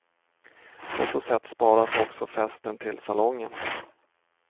På så sätt sparas också festen till salongen.